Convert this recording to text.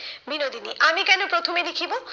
বিনোদিনী, আমি কেন প্রথমে লিখিব?